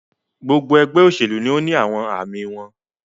Gbogbo ẹgbẹ oṣelu ni awọn aami wọn